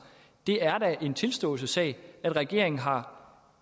det er da en tilståelsessag regeringen har